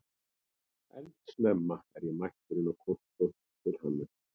Eldsnemma er ég mættur inn á kontór til Hannesar